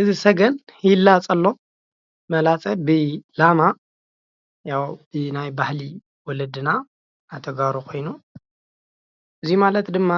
እዚ ሰገን ይላፆ ኣሎ። መላፀ ብላማ ብባሄሊ ወለድና ናይ ተጋሩ ኾይኑ እዚ ማለት ድማ